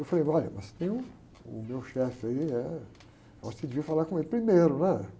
Eu falei, olha, mas tem uh, o meu chefe aí, eh, acho que eu devia falar com ele primeiro, né?